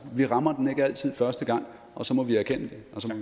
vi rammer den ikke altid første gang og så må vi erkende